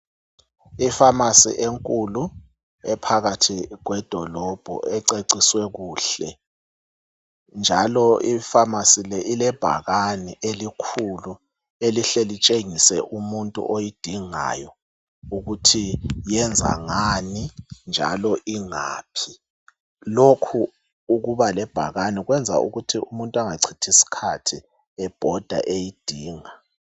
Efamasi enkulu ephakathi kwedolobho ececiswe kuhle njalo kulebhakane elikhulu elihle litshengise umuntu oyidingayo ukuthi yenza ngani njalo ingaphi. Lokho ukuba lebhakane kwenza ukuthi umuntu engacithi isikhathi ebhoda eyidinga.